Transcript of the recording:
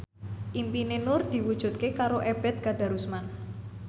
impine Nur diwujudke karo Ebet Kadarusman